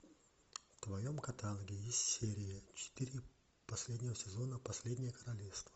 в твоем каталоге есть серия четыре последнего сезона последнее королевство